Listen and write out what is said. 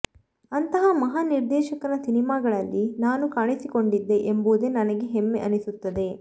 ಅಂಥ ಮಹಾನ್ ನಿರ್ದೇಶಕನ ಸಿನಿಮಾಗಳಲ್ಲಿ ನಾನು ಕಾಣಿಸಿಕೊಂಡಿದ್ದೆ ಎಂಬುದೇ ನನಗೆ ಹೆಮ್ಮೆ ಅನಿಸುತ್ತದೆ